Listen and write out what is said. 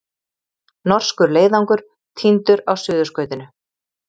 Norskur leiðangur týndur á Suðurskautinu